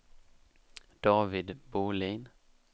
David Bohlin